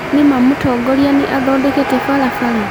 Ni ma Mutongoria ni athondekete barabara